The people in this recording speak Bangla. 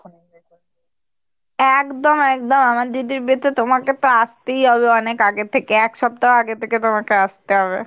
একদম একদম আমার দিদির বিয়েতে তোমাকে তো আসতেই হবে অনেক আগে থেকে এক সপ্তাহ আগে থেকে তোমাকে আসতে হবে।